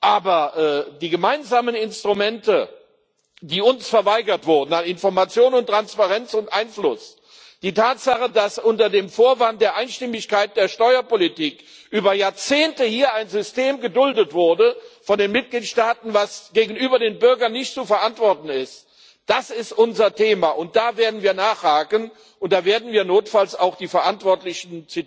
Aber die gemeinsamen Instrumente, die uns verweigert wurden, nach Information und Transparenz und Einfluss, die Tatsache, dass unter dem Vorwand der Einstimmigkeit der Steuerpolitik über Jahrzehnte hier von den Mitgliedstaaten ein System geduldet wurde, das gegenüber den Bürgern nicht zu verantworten ist Das ist unser Thema, und da werden wir nachhaken, und da werden wir notfalls auch die Verantwortlichen